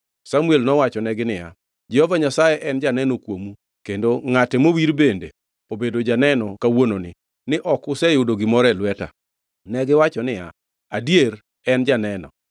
Samuel nowachonegi niya, “Jehova Nyasaye en janeno kuomu, kendo ngʼate mowir bende obedo janeno kawuononi, ni ok useyudo gimoro e lweta.” Negiwacho niya, “Adier, en janeno.”